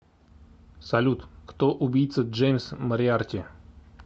салют кто убийца джеймс мориарти